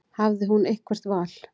Hafði hún eitthvert val?